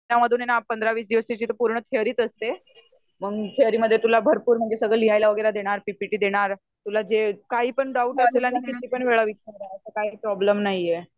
त्या मधून ना १५-२० दिवस पूर्ण थेअरीच असते मंग थेअरी मध्ये तुला सगळा भरपूर लिहायला देणार पी. पी. टी. देणार. तुला जे काहीपण डाउट आला तर कितीपण वेळा विचारल तर काही पण प्रोब्लेम नाही आहे